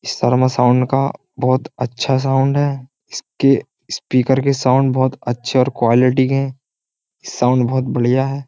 Sharma sound का बहुत अच्छा साउंड है। इसके स्पीकर के साउंड बहुत अच्छे और क्वालिटी के हैं साउंड बहुत बढ़िया है।